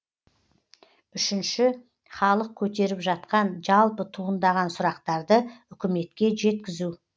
үшінші халық көтеріп жатқан жалпы туындаған сұрақтарды үкіметке жеткізу